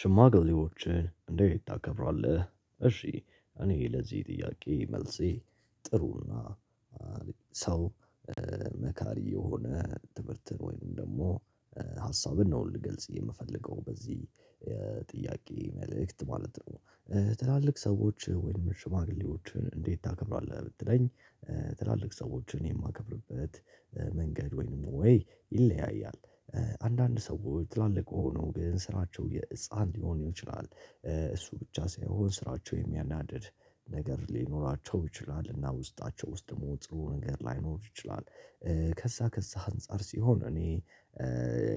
ሽማግሌዎችን እንደት ታከብራለህ እሺ እኔ ለዚህ ጥያቄ መልሴ ጥሩ እና ሰው መካሪ የሆነ ትምህርትን ወይም ደግሞ ሀሳብን ነው ልገልጽ የምፈልገው በዚህ ጥያቄ መልእክት ማለት ነው። ትላልቅ ሰዎች ወይንም ሽማግሌዎችን እንዴት ታከብራለህ? ብትለኝ ትላልቅ ሰዎችን የማከብርበት መንገድ ወይንም ወይ ይለያያል። አንዳንድ ሰዎች ትላልቅ ሆነው ግን ስራቸው የህፃን ሊሆን ይችላል። እሱ ብቻ ሳይሆን ስራቸው የሚያናድድ ነገር ሊኖራቸው ይችላል እና ውስጣቸው ውስጥ ደግሞ ጥሩ ነገር ላይኖር ይችላል። ከዛ ከዛ አንፃር ሲሆን እኔ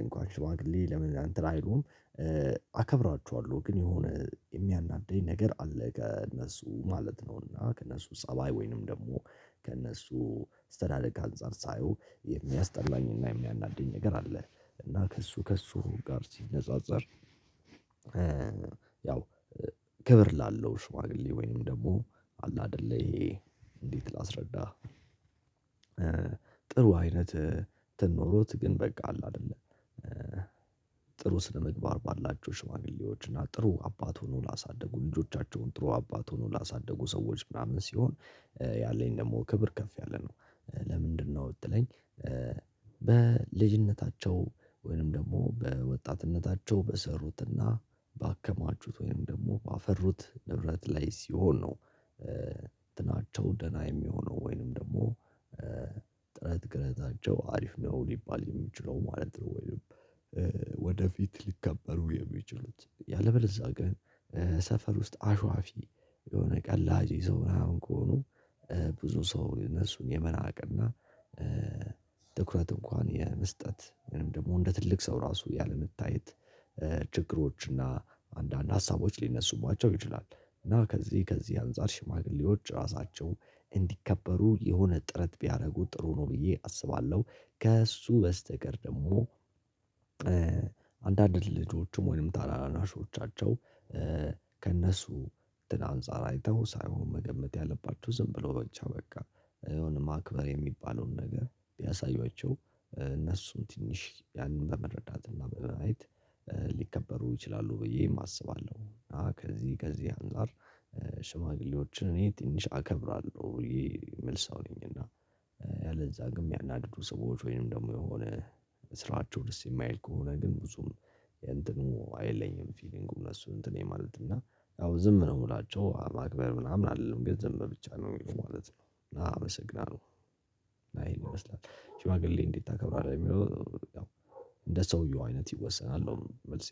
እንኳን ሽማግሌ ለምን እንትን አይሉም? አከብራችኋለሁ ግን የሆነ የሚያናድደኝ ነገር አለ ከእነሱ ማለት ነው እና ከእነሱ ፀባይ ወይንም ደግሞ ከእነሱ አስተዳደግ አንፃር ሳየው የሚያስጠላኝና የሚያናድድ ነገር አለ። እና ከእሱ ከእሱ ጋር ሲነጻጸር። ያው ክብር ላለው ሽዋግሌ ወይንም ደግሞ አለ አይደለ ይሄ እንዴት ላስረዳህ? ጥሩ አይነት እንትን ኖሮት ግን በቃ አለ አይደለ። ጥሩ ስነ ምግባር ባላቸው ሽማግሌዎች እና ጥሩ አባት ሆኖ ላሳደጉ ልጆቻቸውን ጥሩ አባት ሆኖ ላሳድጉ ሰዎች ምናምን ሲሆን ያለኝ ደግሞ ክብር ከፍ ያለ ነው። ለምንድነው ብትለኝ? በልጅነታቸው ወይንም ደግሞ በወጣትነታቸው በሰሩትና ባከማችሁት ወይንም ደግሞ ባፈሩት ንብረት ላይ ሲሆን ነው። እንትናቸው ደህና የሚሆነው ወይንም ደግሞ ጥረት ግረታቸው አሪፍ ነው ሊባል የሚችለው ማለት ነው። ወይንም ወደፊት ሊከበሩ የሚችሉት ያለበለዛ ግን ሰፈር ውስጥ አሽዋፊ የሆነ ቀላጂ ሰው ምናምን ከሆኑ። ብዙ ሰው እነሱን የመናቅና ትኩረት እንኳን የመስጠት ወይም ደግሞ እንደ ትልቅ ሰው ራሱ ያለመታየት። ችግሮች እና አንዳንድ ሀሳቦች ሊነሱባቸው ይችላል። እና ከዚህ ከዚህ አንፃር ሽማግሌዎች ራሳቸው እንዲከበሩ የሆነ ጥረት ቢያደርጉ ጥሩ ነው ብዬ አስባለሁ። ከእሱ በስተቀር ደግሞ አንዳንድ ልጆቹም ወይንም ታናናሾቻቸው ከእነሱ አንፃር አይተው ሳይሆን መገመት ያለባችሁ ዝም ብሎ ብቻ በቃ አሁን ማክበር የሚባለውን ነገር ቢያሳዩዋቸው እነሱም ትንሽ ያንን በመረዳት እና በማየት ሊከበሩ ይችላሉ ብዬም አስባለሁ። ከዚህ ከዚህ አንፃር ሽማግሌዎችን እኔ ትንሽ አከብራለሁ ብዬ መልስ ነኝ። እና ያለዛ ግን የሚያናድዱ ሰዎች ወይንም ደግሞ የሆነ ስራቸው ደስ የማይል ከሆነ ግን ብዙም እንትኑ አይለኝም ፊሊንጉን እነሱን እንትን ማለት እና ያው ዝም ነው የምላቸው ማክበር ምናምን አይደለም ግን ዝም ብቻ ነው የሚለው ማለት ነው። አመሰግናለሁ። ይህን ይመስላል ሺማግሌ እንዴት ታከብራለህ? የሚለው እንደ ሰውየው አይነት ይወሰናል ነው። መልሴ